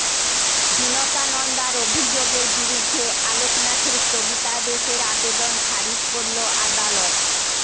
বিনতা নন্দার অভিযোগের বিরুদ্ধে আলোক নাথের স্থগিতাদেশের আবেদন খারিজ করল আদালত